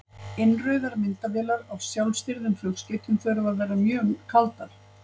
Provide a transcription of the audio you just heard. Innrauðar myndavélar á sjálfstýrðum flugskeytum þurfa að vera mjög kaldar.